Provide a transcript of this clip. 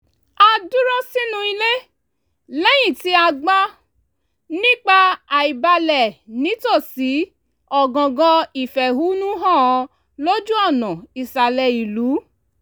a dúró sínú ilé lẹ́yìn tí a gbọ́ nípa àìbalẹ̀ nítòsí ọ̀gangan ìfẹ̀hónúhàn lójú ọ̀nà ìsàlẹ̀ ìlú